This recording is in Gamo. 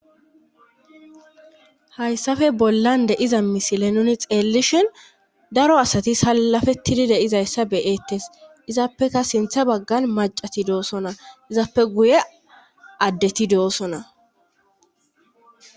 hayssafe bollan deiza misile nuni xeellishin daro asati salafetidi deizayssa beyettes izaappeka sintha baggan macati doosona izaappe guye addeti doossona